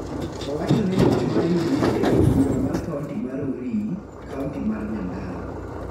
Owacho ni loch mar UDA e od bura mar kaonti mar Rurii, kaonti mar Nyandarua